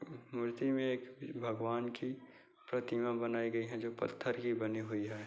मूर्ति में एक भगवान की प्रतिमा बनाई गई है जो पत्थर की बनी हुई है।